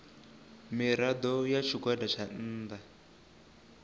mirado ya tshigwada tsha nnda